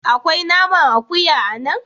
Akwai naman akuya a nan?